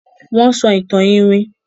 Wón ń sọ ìtàn iwin.